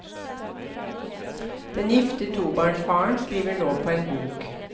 Den gifte tobarnsfaren skriver nå på en bok.